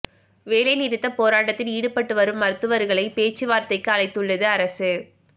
வேலை நிறுத்த போராட்டத்தில் ஈடுபட்டு வரும் மருத்துவர்களை பேச்சுவார்த்தைக்கு அழைத்துள்ளது அரசு